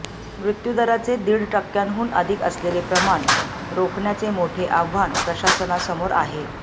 मृत्यूदराचे दीड टक्क्यांहून अधिक असलेले प्रमाण रोखण्याचे मोठे आव्हान प्रशासनासमोर आहे